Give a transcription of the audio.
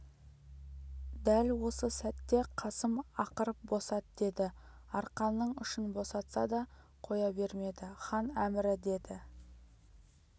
дәл осы сәтте қасым ақырып босат деді арқанның ұшын босатса да қоя бермеді хан әмірі деді